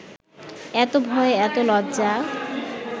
এত ভয়, এত লজ্জা